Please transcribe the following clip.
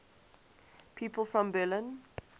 people from berlin